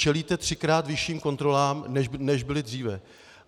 Čelíte třikrát vyšším kontrolám, než byly dříve.